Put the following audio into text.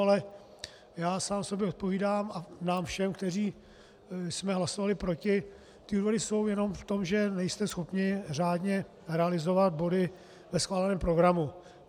Ale já sám sobě odpovídám a nám všem, kteří jsme hlasovali proti: ty důvody jsou jenom v tom, že nejste schopni řádně realizovat body ve schváleném programu.